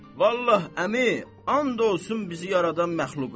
Vallah, əmi, and olsun bizi yaradan məxluqa.